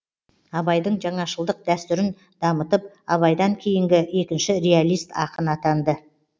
абайдың жаңашылдық дәстүрін дамытып абайдан кейінгі екінші реалист ақын атанды